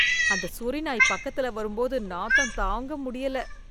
அந்த சொறி நாய் பக்கத்துல வரும்போது நாத்தம் தாங்க முடியல